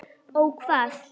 Ó hvað?